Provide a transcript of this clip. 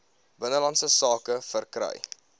binnelandse sake verkry